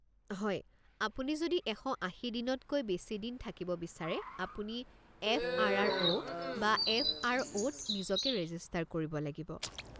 হয়, আপুনি যদি ১৮০ দিনতকৈ বেছি দিন থাকিব বিচাৰে আপুনি এফ.আৰ.আৰ.অ’. বা এফ.আৰ.অ’ত নিজকে ৰেজিষ্টাৰ কৰিব লাগিব।